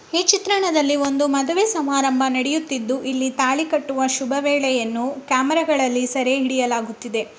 ಈ ಚಿತ್ರಣದಲ್ಲಿ ಒಂದು ಮಾದುವೆ ಸಮಾರಂಭ ನಡೆಯುತಿದ್ದು ತಾಳಿ ಕಟ್ಟುವ ಶುಭವೇಳೆಯನ್ನು ಕ್ಯಾಮರಾದಲ್ಲಿ ಸೆರೆ ಹಿಡಿಯಲಾಗುತ್ತಿದೆ.